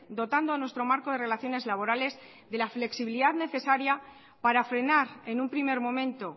dotando a nuestro marco de relaciones laborales de la flexibilidad necesaria para frenar en un primer momento